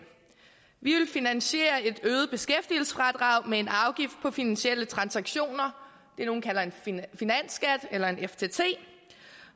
vi vil finansiere et øget beskæftigelsesfradrag med en afgift på finansielle transaktioner det nogle kalder en finansskat eller en ftt